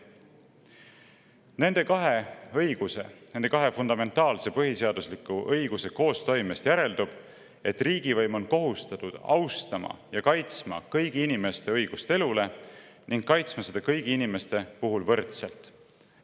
Nende kahe õiguse, nende kahe fundamentaalse põhiseadusliku õiguse koostoimest järeldub, et riigivõim on kohustatud austama ja kaitsma kõigi inimeste õigust elule ning kaitsma õigust elule kõigi inimeste puhul võrdselt.